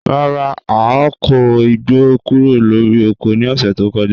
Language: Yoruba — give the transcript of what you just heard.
Rara, a ko igbo kuro lori oko ni ọsẹ to kọja